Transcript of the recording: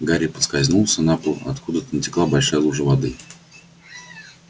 гарри поскользнулся на пол откуда-то натекла большая лужа воды